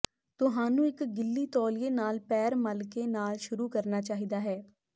ਤੁਹਾਨੂੰ ਇੱਕ ਗਿੱਲੀ ਤੌਲੀਏ ਨਾਲ ਪੈਰ ਮਲਕੇ ਨਾਲ ਸ਼ੁਰੂ ਕਰਨਾ ਚਾਹੀਦਾ ਹੈ